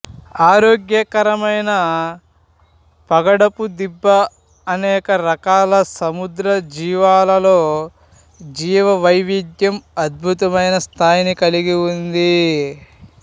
ఆరోగ్యకరమైన పగడపు దిబ్బ అనేక రకాల సముద్ర జీవాలలో జీవవైవిధ్యం అద్భుతమైన స్థాయిని కలిగి ఉంది